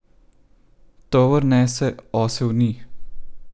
Tovor nese, osel ni.